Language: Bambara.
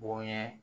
Bonɲɛ